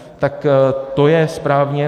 Tak to je správně.